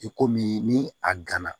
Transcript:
I komi ni a gana